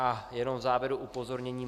A jenom v závěru upozornění.